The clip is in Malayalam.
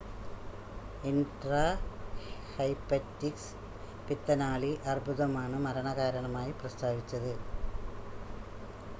ഇൻട്രാഹെപ്പറ്റിക് പിത്തനാളി അർബുദമാണ് മരണ കാരണമായി പ്രസ്താവിച്ചത്